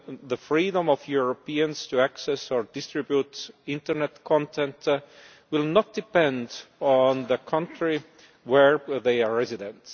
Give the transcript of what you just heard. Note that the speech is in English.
the freedom of Europeans to access or distribute internet content will not depend on the country where they are resident.